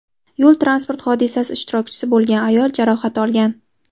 Yo‘l transport hodisasi ishtirokchisi bo‘lgan ayol jarohat olgan.